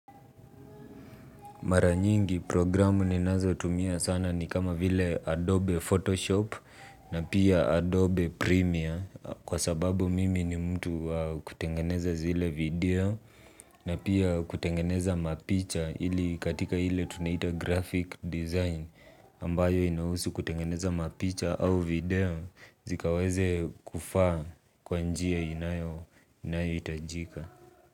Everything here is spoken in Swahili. Mara nyingi programu ninazo tumia sana ni kama vile Adobe Photoshop na pia Adobe Premiere kwa sababu mimi ni mtu wa kutengeneza zile video na pia kutengeneza mapicha ili katika hile tunaita graphic design ambayo inahusu kutengeneza mapicha au video zikaweze kufaa kwa njia inayo itajika.